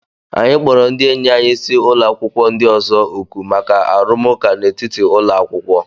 Anyị kpọrọ ndị enyi anyị si ụlọ akwụkwọ ndị ọzọ òkù maka arụmụka n'etiti ụlọ akwụkwọ.